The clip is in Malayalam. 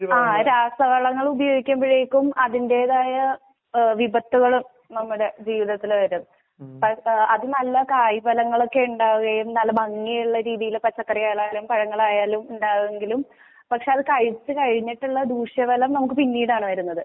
ആ രാശവളങ്ങളുപയോഗിമ്പോഴേക്കും അതിന്റെതായ ഏഹ് വിപത്തുകള് നമ്മടെ ജീവിതത്തില് വരും അഹ് അഹ് അത്നല്ലകായഫലങ്ങളൊക്കെ ഇണ്ടാവുകയും നല്ല ഭഗിയിലുള്ളയാരീതിയിലെ പച്ചക്കാറികളായലും, പഴങ്ങളായാലും ഇണ്ടാവുവെങ്കിലും പക്ഷെ അത്കഴിച്ചകഴിഞ്ഞിട്ടുള്ള ദൂഷ്യഫലം നമുക്കുപിന്നീടാണ് വെരുന്നത്.